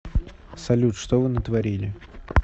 салют что вы натворили